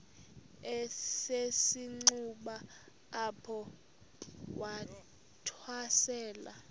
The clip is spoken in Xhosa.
esisenxuba apho wathwasela